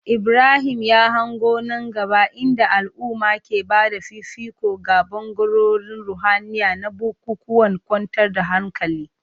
Ibrahim ya hango nan gaba inda al'umma ke ba da fifiko ga bangarorin ruhaniya na bukukuwan kwantar da hankali.